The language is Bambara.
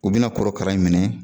U bi na korokara in minɛ